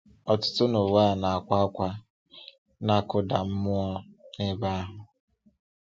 Ọtụtụ n’ụwa na-akwa ákwá, na-akụda mmụọ n’ebe ahụ.